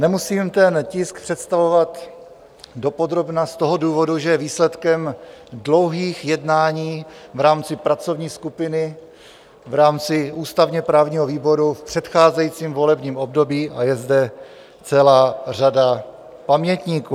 Nemusím ten tisk představovat dopodrobna z toho důvodu, že je výsledkem dlouhých jednání v rámci pracovní skupiny, v rámci ústavně-právního výboru v předcházejícím volebním období a je zde celá řada pamětníků.